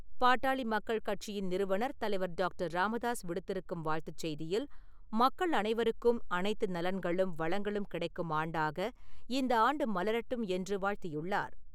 பாட்டாளி மக்கள் கட்சியின் நிறுவனர் தலைவர் டாக்டர். ராமதாஸ் விடுத்திருக்கும் வாழ்த்துச் செய்தியில், மக்கள் அனைவருக்கும், அனைத்து நலன்களும், வளங்களும் கிடைக்கும் ஆண்டாக இந்த ஆண்டு மலரட்டும் என்று வாழ்த்தியுள்ளார்.